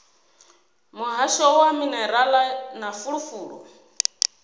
muhasho wa minerala na fulufulu